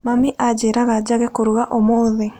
Mami aanjĩraga njage kũruga ũmũthĩ.